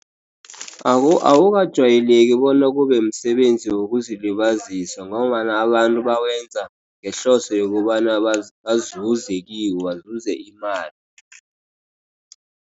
Awukajayeleki bona kube msebenzi wokuzilibazisa, ngombana abantu bawenza ngehloso yokobana [? bazuze kiwo bazuze imali.